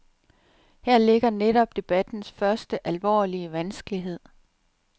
Her ligger netop debattens første, alvorlige vanskelighed.